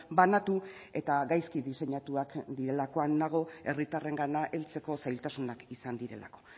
banatu eta gaizki diseinatuak direlakoan nago herritarrengana heltzeko zailtasunak izan direlako